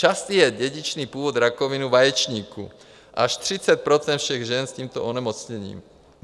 Častý je dědičný původ rakoviny vaječníků, až 30 % všech žen s tímto onemocněním.